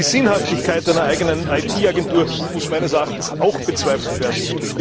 Die Sinnhaftigkeit einer eigenen IT Agentur muss meines Erachtens auch bezweifelt werden.